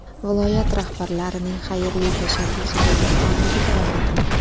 Viloyat rahbarlarining xayrli tashabbusdagi faolligi davom etmoqda.